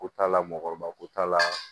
Ko t'a la mɔgɔkɔrɔba ko t'a la